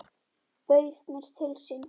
Bauð mér til sín.